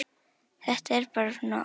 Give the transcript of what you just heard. Þetta er bara svona óhapp.